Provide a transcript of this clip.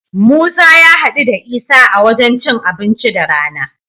Musa ya haɗu da Isa a wajen cin abinci da rana.